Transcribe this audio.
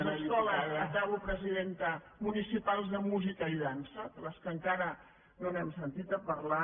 les escoles acabo presidenta municipals de músi·ca i dansa de les quals encara no hem sentit a parlar